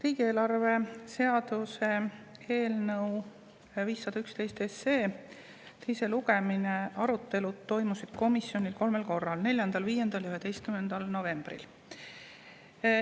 Riigieelarve seaduse eelnõu 511 teise lugemise arutelu toimus komisjonis kolmel korral: 4., 5. ja 11. novembril.